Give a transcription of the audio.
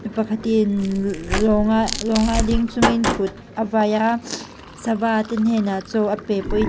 pakhat in lawnga lawnga ding chungin kut a vai a sava te hnenah châw a pe pawhin--